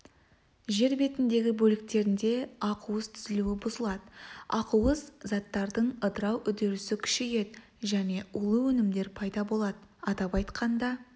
жер бетіндегі бөліктерінде ақуыз түзілуі бұзылады ақуыз заттардың ыдырау үдерісі күшейеді және улы өнімдер пайда болады атап айтқанда